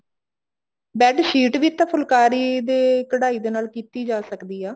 bed sheet ਵੀ ਤਾਂ ਫੁਲਕਾਰੀ ਦੇ ਕਢਾਈ ਦੇ ਨਾਲ ਕੀਤੀ ਜਾ ਸਕਦੀ ਆ